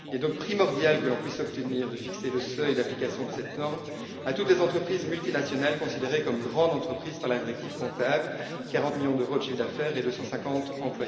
Il est donc primordial que l'on puisse obtenir de fixer le seuil d'application de cette norme à toutes les entreprises multinationales considérées comme grandes entreprises par la directive comptable 40 millions d'euros de chiffre d'affaires et 250 salariés.